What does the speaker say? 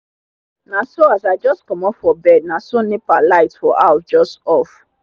naso as i jus comot for bed naso nepa light for house jus off